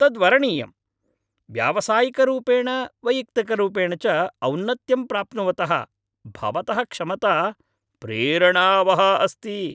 तद् वरणीयम्! व्यावसायिकरूपेण वैयक्तिकरूपेण च औनत्यं प्राप्नुवतः भवतः क्षमता प्रेरणावहा अस्ति।